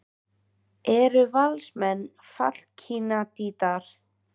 Eru Valsmenn fallkandídatar?